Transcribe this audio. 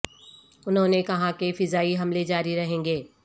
انھوں نے کہا کہ فضائی حملے جاری رہیں گے